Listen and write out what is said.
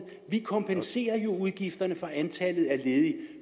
vi kompenserer udgifterne for antallet af ledige